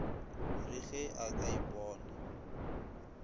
re ge a ka ipona